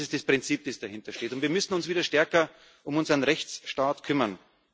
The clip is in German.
Das ist das Prinzip, das dahintersteht, und wir müssen uns wieder stärker um unseren Rechtsstaat kümmern.